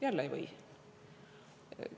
Jälle, nii ei või.